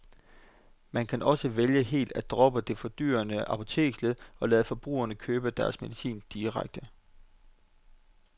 Man kan også vælge helt at droppe det fordyrende apoteksled og lade forbrugerne købe deres medicin direkte.